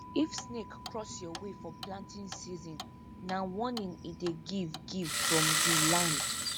if snake cross your way for planting season na warning e dey give give from di land